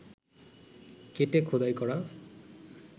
কেটে খোদাই করা